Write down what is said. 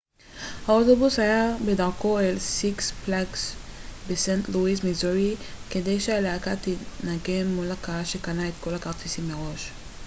האוטובוס היה בדרכו אל סיקס פלאגס בסנט לואיס מיזורי כדי שהלהקה תנגן מול קהל שקנה את כל הכרטיסים מראש